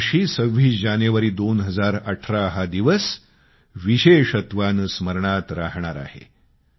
यावर्षी 26 जानेवारी 2018 हा दिवस विशेषत्वाने स्मरणात राहणार आहे